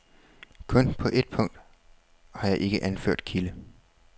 Kun på et punkt har jeg ikke anført kilde.